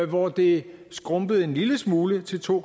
hvor det skrumpede en lille smule til to